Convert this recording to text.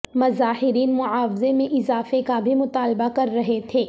مظاہرین معاوضے میں اضافے کا بھی مطالبہ کررہے تھے